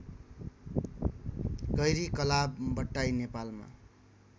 गैरीकलाव बट्टाई नेपालमा